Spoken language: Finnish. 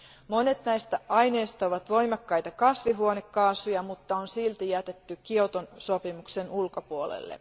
Monet näistä aineista ovat voimakkaita kasvihuonekaasuja, mutta ne on silti jätetty Kioton sopimuksen ulkopuolelle.